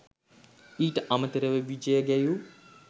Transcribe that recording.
ඊට අමතරව විජය ගැයූ